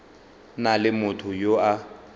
na le motho yo a